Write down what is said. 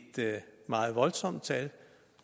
meget voldsomt tal